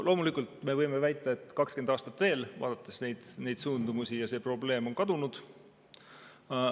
Loomulikult me võime neid suundumusi vaadates väita, et 20 aastat veel, ja see probleem on kadunud.